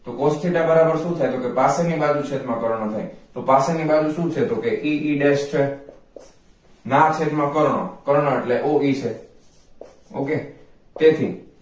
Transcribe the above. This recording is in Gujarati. તો cos theta બરાબર શુ થાય તો કે પાછળ ની બાજુ છેદમા કર્ણ થાય તો કે પાછળ ની બાજુ શુ છે તો કે e e desh છે ના છેદ માં કર્ણ કર્ણ એટલે o e થાય ok તેથી